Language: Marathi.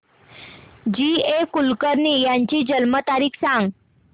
जी ए कुलकर्णी यांची जन्म तारीख सांग